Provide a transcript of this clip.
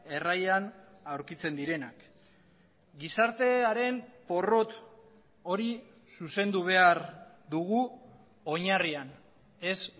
erraian aurkitzen direnak gizartearen porrot hori zuzendu behar dugu oinarrian ez